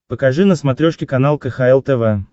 покажи на смотрешке канал кхл тв